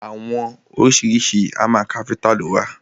Àwọn oríṣiríṣi hámà káfíntà lo wà.